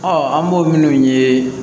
an b'o minnu ye